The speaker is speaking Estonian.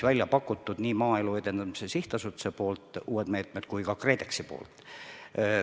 Need on nii Maaelu Edendamise Sihtasutuse kui ka KredExi välja pakutud uued meetmed.